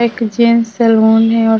एक gents salon है और --